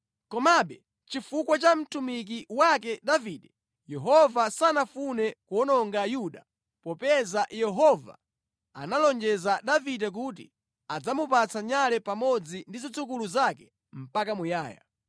Komabe, chifukwa cha mtumiki wake Davide, Yehova sanafune kuwononga Yuda popeza Yehova analonjeza Davide kuti adzamupatsa nyale pamodzi ndi zidzukulu zake mpaka muyaya.